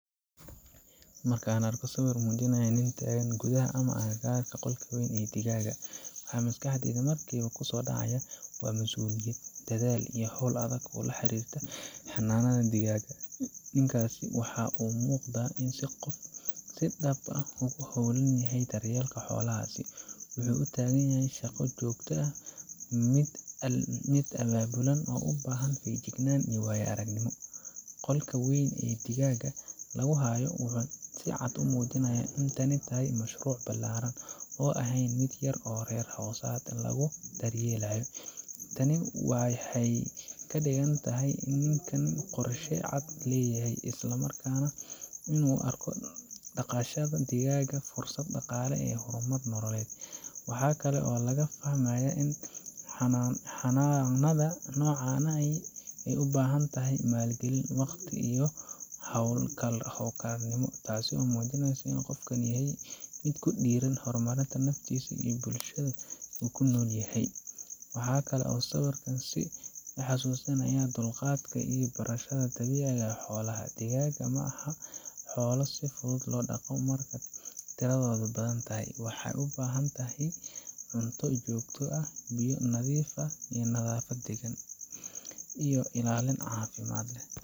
Marka aan arko sawir muujinaya nin taagan gudaha ama agagaarka qolka weyn ee digaaga, waxa maskaxdayda markiiba ku soo dhaca waa mas’uuliyad, dadaal iyo hawl adag oo la xiriirta xanaanada digaaga. Ninkaasi waxa uu u muuqdaa qof si dhab ah ugu hawlan daryeelka xoolahaas wuxuu u taagan yahay shaqo joogto ah, mid abaabulan, oo u baahan feejignaan iyo waayo-aragnimo. Qolka weyn ee digaaga lagu hayo wuxuu si cad u muujinayaa in tani tahay mashruuc ballaaran, oo aan ahayn mid yar oo reer hoosaad lagu daryeelo. Tani waxay ka dhigan tahay in ninkan uu qorshe cad leeyahay, isla markaana uu u arko dhaqashada digaaga fursad dhaqaale iyo horumar nololeed. Waxa kale oo laga fahmayaa in xanaanada noocan ahi ay u baahan tahay maalgelin, waqti, iyo hawlkarnimo, taasoo muujinaysa in qofkani yahay mid ku dhiirran horumarinta naftiisa iyo bulshada uu ku nool yahay. Waxa kale oo sawirkan i xusuusinayaa dulqaadka iyo barashada dabiicadda xoolaha. Digaagga ma aha xoolo si fudud loo dhaqo marka tiradoodu badan tahay. Waxay u baahan yihiin cunto joogto ah, biyo nadiif ah, nadaafad degaan, iyo ilaalin caafimaad.